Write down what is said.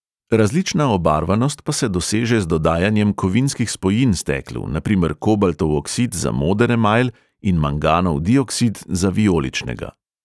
Različna obarvanost pa se doseže z dodajanjem kovinskih spojin steklu, na primer kobaltov oksid za moder emajl in manganov dioksid za vijoličnega.